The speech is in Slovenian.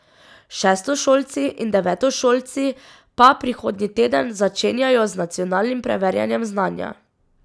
Šestošolci in devetošolci pa prihodnji teden začenjajo z nacionalnim preverjanjem znanja.